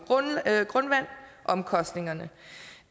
grundvand omkostningerne